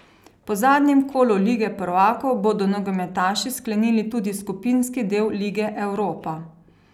Po zadnjem kolu lige prvakov bodo nogometaši sklenili tudi skupinski del lige europa.